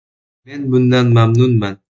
Men bundan mamnunman.